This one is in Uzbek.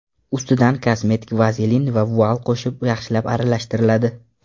Ustidan kosmetik vazelin va vual qo‘shib, yaxshilab aralashtiriladi.